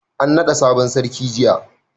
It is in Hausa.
an nada sabon sarki jiya